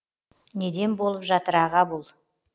неден болып жатыр аға бұл